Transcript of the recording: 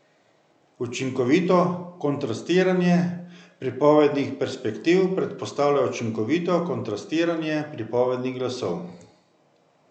Učinkovito kontrastiranje pripovednih perspektiv predpostavlja učinkovito kontrastiranje pripovednih glasov.